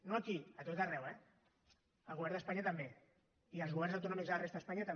no aquí a tot arreu eh al govern d’espanya també i als governs autonòmics de la resta d’espanya també